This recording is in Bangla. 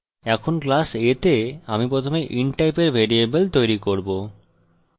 এখন class a তে আমি প্রথমে int টাইপের ভ্যারিয়েবল তৈরী করব